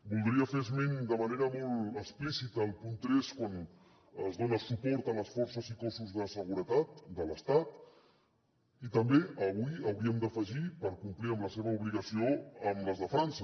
voldria fer esment de manera molt explícita al punt tres quan es dona suport a les forces i cossos de seguretat de l’estat i també avui hi hauríem d’afegir per complir amb la seva obligació les de frança